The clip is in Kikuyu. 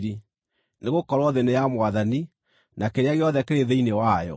nĩgũkorwo, “Thĩ nĩ ya Mwathani, na kĩrĩa gĩothe kĩrĩ thĩinĩ wayo.”